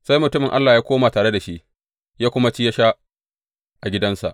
Sai mutumin Allah ya koma tare da shi ya kuma ci ya sha a gidansa.